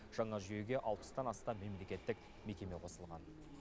жаңа жүйеге алпыстан астам мемлекеттік мекеме қосылған